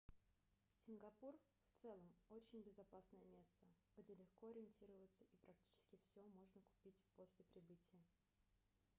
сингапур в целом очень безопасное место где легко ориентироваться и практически всё можно купить после прибытия